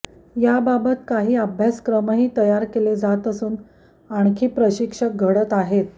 याबाबत काही अभ्यासक्रमही तयार केले जात असून आणखी प्रशिक्षक घडत आहेत